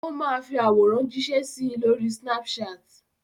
Ó máa fi àwòrán jíṣẹ́ sí i lórí Snapchat.